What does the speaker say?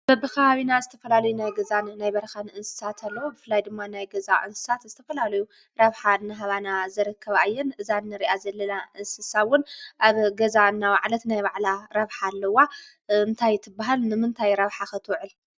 በብከባብና ዝተፈላለዩ ናይ ገዛን ናይ በራካን እንስሳን ኣለው። ብፍላይ ድማ ናይ ገዛ እንስሳ ዝተፈላለዩ ረብሓ እናሃባና ዝርከባ እየን። እዛ እንርእያ ዘለና እንስሳ እውን ኣብ ገዛ እናውዓለት ናይ ባዕላ ረብሓ ኣለዋ። እንታይ ትብሃል? ንምንታይ ረብሓ ከ ትውዕል?